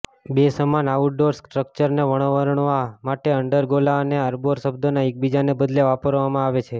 બે સમાન આઉટડોર સ્ટ્રક્ચર્સને વર્ણવવા માટે અંડરગોલા અને આર્બોર શબ્દનો એકબીજાના બદલે વાપરવામાં આવે છે